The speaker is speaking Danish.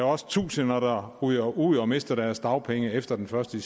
også tusinder der ryger ud og mister deres dagpenge efter den første